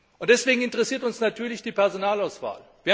Und deswegen interessiert uns natürlich die Personalauswahl.